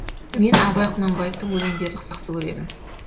мен абай құнанбаевтың өлеңдерін жақсы көремін